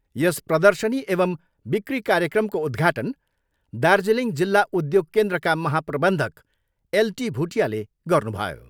यस प्रर्दशनी एवम् बिकी कार्यक्रमको उद्घाटन दार्जिलिङ जिल्ला उद्योग केन्द्रका महाप्रबन्धक एल टी भुटियाले गर्नुभयो।